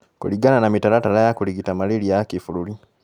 Kũringana na mĩtaratara ya kũrigita malaria ya kĩ-bũrũri